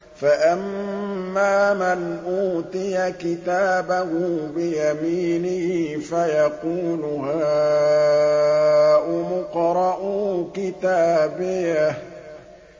فَأَمَّا مَنْ أُوتِيَ كِتَابَهُ بِيَمِينِهِ فَيَقُولُ هَاؤُمُ اقْرَءُوا كِتَابِيَهْ